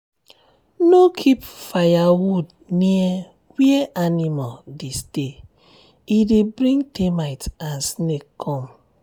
no keep firewood near where animal dey stay e dey bring termite and snake come.